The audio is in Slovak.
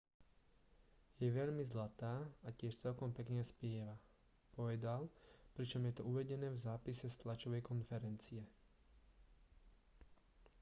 je veľmi zlatá a tiež celkom pekne spieva povedal pričom je to uvedené v zápise z tlačovej konferencie